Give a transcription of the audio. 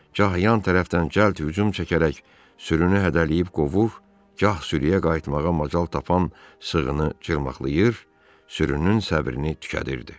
Gah yan tərəfdən cəlt hücum çəkərək sürünü hədələyib qovur, gah sürüyə qayıtmağa macal tapan sığını çırmaqlyır, sürünün səbrini tükədirirdi.